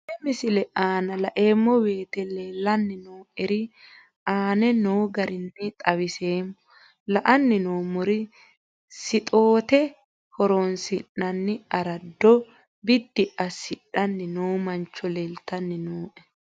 Tenne misile aana laeemmo woyte leelanni noo'ere aane noo garinni xawiseemmo. La'anni noomorri sixoote horoonsinanni araado biddi asidhanni noo mancho leeltanni nooe.